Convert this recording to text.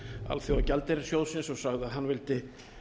alþjóðagjaldeyrissjóðsins og sagði að hann vildi